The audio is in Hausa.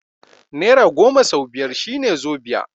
Nera goma sau biyar shine zobiya